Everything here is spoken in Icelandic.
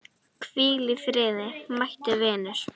Hvíl í friði mæti vinur.